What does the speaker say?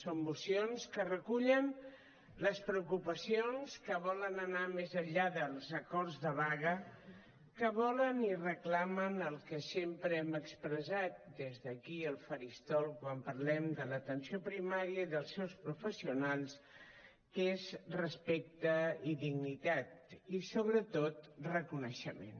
són mocions que recullen les preocupacions que volen anar més enllà dels acords de vaga que volen i reclamen el que sempre hem expressat des d’aquí el faristol quan parlem de l’atenció primària i dels seus professionals que és respecte i dignitat i sobretot reconeixement